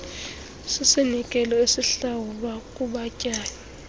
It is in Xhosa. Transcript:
sisinikelo esihlawulwa kubatyai